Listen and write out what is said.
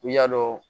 I y'a dɔn